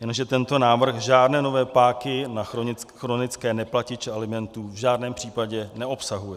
Jenže tento návrh žádné nové páky na chronické neplatiče alimentů v žádném případě neobsahuje.